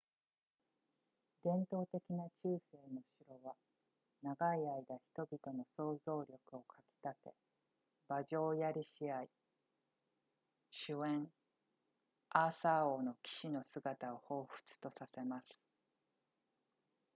伝統的な中世の城は長い間人々の想像力を掻き立て馬上槍試合酒宴アーサー王の騎士の姿を彷彿とさせます